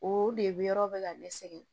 O de bɛ yɔrɔ bɛ ka ne sɛgɛn